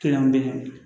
Kelenw be yen